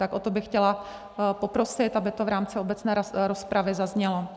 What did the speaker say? Tak o to bych chtěla poprosit, aby to v rámci obecné rozpravy zaznělo.